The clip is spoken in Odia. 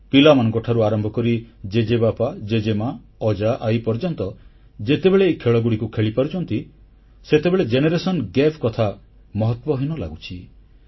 ପିଲାମାନଙ୍କଠାରୁ ଆରମ୍ଭ କରି ଜେଜେବାପା ଜେଜେମା ଅଜାଆଈ ପର୍ଯ୍ୟନ୍ତ ଯେତେବେଳେ ଏହି ଖେଳଗୁଡ଼ିକୁ ଖେଳିପାରୁଛନ୍ତି ସେତେବେଳେ ପିଢିଗତ ବ୍ୟବଧାନ କଥା ମହତ୍ୱହୀନ ଲାଗୁଛି